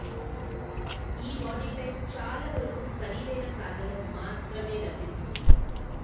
ఈ body type చాలా వరకు ఖరీదైన కార్లలో మాత్రమే లభిస్తుంది